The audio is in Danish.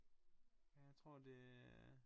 Ja jeg tror det